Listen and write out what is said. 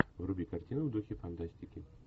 вруби картину в духе фантастики